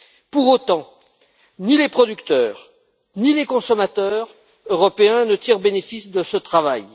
Pour autant, ni les producteurs ni les consommateurs européens ne tirent bénéfice de ce travail.